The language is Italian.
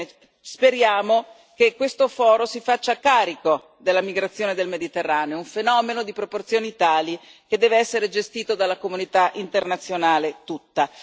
Ebbene, speriamo che questo foro si faccia carico della migrazione nel Mediterraneo, un fenomeno di proporzioni tali che deve essere gestito dalla comunità internazionale tutta.